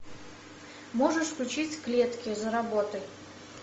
можешь включить клетки за работой